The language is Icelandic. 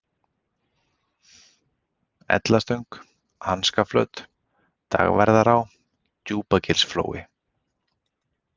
Ellastöng, Hanskaflöt, Dagverðará, Djúpagilsflói